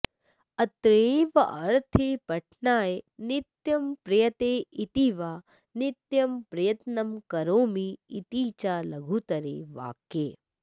अत्रैवार्थे पठनाय नित्यं प्रयते इति वा नित्यं प्रयत्नं करोमि इति च लघुतरे वाक्ये